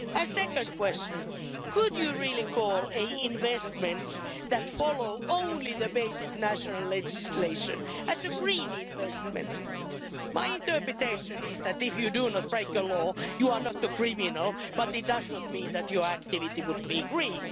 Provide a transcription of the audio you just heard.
Second question, could you really call investments that follow only basic national legislation a green investment? My interpretation is that if you do not break the law you are not a criminal, but it does not mean that your activity would be green.